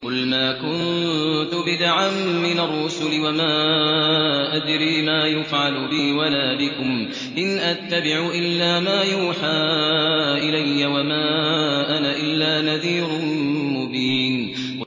قُلْ مَا كُنتُ بِدْعًا مِّنَ الرُّسُلِ وَمَا أَدْرِي مَا يُفْعَلُ بِي وَلَا بِكُمْ ۖ إِنْ أَتَّبِعُ إِلَّا مَا يُوحَىٰ إِلَيَّ وَمَا أَنَا إِلَّا نَذِيرٌ مُّبِينٌ